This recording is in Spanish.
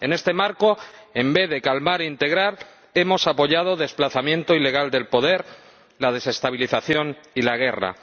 En este marco, en vez de calmar e integrar, hemos apoyado un desplazamiento ilegal del poder, la desestabilización y la guerra.